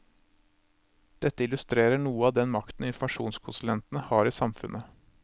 Dette illustrerer noe av den makten informasjonskonsulentene har i samfunnet.